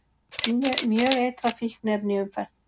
Mjög eitrað fíkniefni í umferð